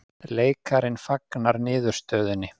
Leikarinn fagnar niðurstöðunni